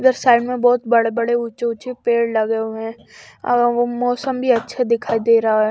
Left side मे बहुत बड़े बड़े उचे उचे पेड़ लगे हुए है अ वो मौसम भी अच्छा दिखाई दे रहा है।